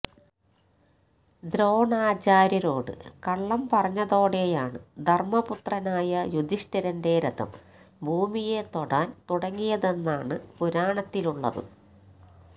ദ്രോണാചാര്യരോട് കള്ളം പറഞ്ഞതോടെയാണ് ധര്മ്മപുത്രനായ യുധിഷ്ഠിരന്റെ രഥം ഭൂമിയെ തൊടാന് തുടങ്ങിയതെന്നാണ് പുരാണത്തിലുള്ളത്